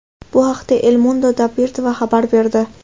Bu haqda El Mundo Deportivo xabar berdi .